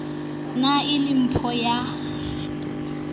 ne e le mpho ya